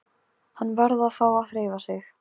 Hann varð að fá að hreyfa sig.